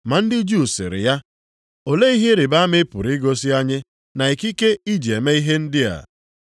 Ma ndị Juu sịrị ya, “Olee ihe ịrịbama ị pụrụ igosi anyị na ikike i ji eme ihe ndị a.”